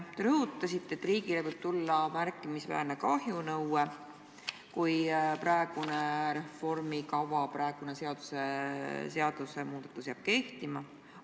Te rõhutasite, et riigile võib tulla märkimisväärne kahjunõue, kui praegune reformikava, praegune seadus jääb kehtima.